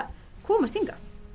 komast hingað